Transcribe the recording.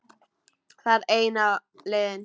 Það er eina leiðin.